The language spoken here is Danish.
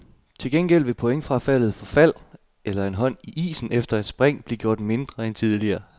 Til gengæld vil pointfradraget for fald eller en hånd i isen efter et spring blive gjort mindre end tidligere.